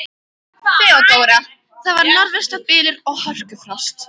THEODÓRA: Það var norðvestan bylur og hörkufrost.